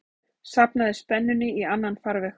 safnaðri spennunni í annan farveg.